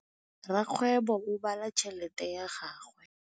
Rakgwêbô o bala tšheletê ya gagwe.